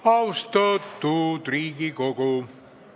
Austatud Riigikogu!